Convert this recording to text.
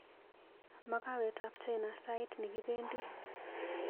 Makawetab China sait nekibendi.